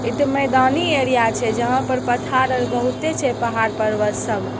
इते मैदानी एरिया छे जहाँ पर पठार बहुते छे पाहड पर्वत सब।